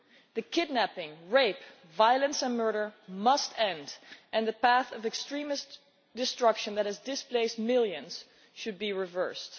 The kidnapping, rape, violence and murder must end, and the path of extremist destruction that has displaced millions should be reversed.